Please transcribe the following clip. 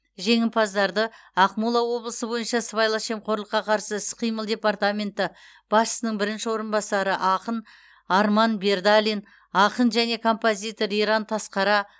жеңімпаздарды ақмола облысы бойынша сыбайлас жемқорлыққа қарсы іс қимыл департаменті басшысының бірінші орынбасары ақын арман бердалин ақын және композитор иран тасқара